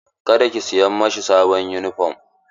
Ka da ki siya mashi sabon yunifom!